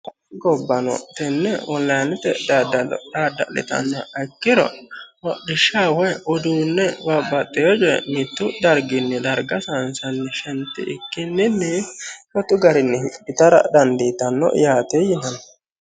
gobbano tenne onilinete daddalo dadda'litannoha ikkiro hodhishshaho woyi mittu darginni wole darga saysanni shentikkinni shotu garinni hidhitara dandiitanno yaate yinanni.